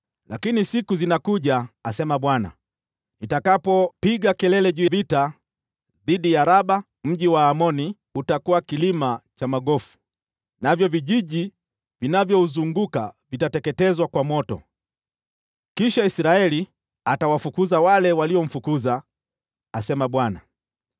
Lakini siku zinakuja,” asema Bwana , “nitakapopiga kelele ya vita dhidi ya Raba mji wa Waamoni; utakuwa kilima cha magofu, navyo vijiji vinavyouzunguka vitateketezwa kwa moto. Kisha Israeli atawafukuza wale waliomfukuza,” asema Bwana .